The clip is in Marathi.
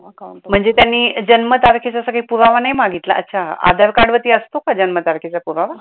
म्हणजे त्यांनी जन्म तारखेचा काही पुरावा नाही मागितला अच्छा आधार card वरती असतो का जन्म तारखेचा पुरावा?